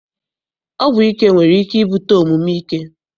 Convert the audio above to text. Ọgwụ ike nwere ike ibute omume ike.